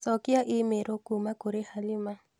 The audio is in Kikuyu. Cokia i-mīrū kuuma kũrĩ Halima